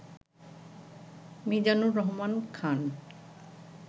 Mizanur Rahman Khan